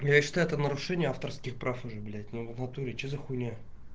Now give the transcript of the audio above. я что-то нарушение авторских прав уже блять ну в натуре что за х